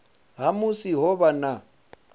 ha musi ho vha na